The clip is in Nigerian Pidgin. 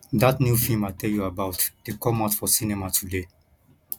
dat new film i tell you about dey come out for cinema today